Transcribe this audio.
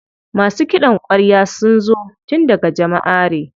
Masu ƙidan kwarya sun zo tun daga Jamaʼare.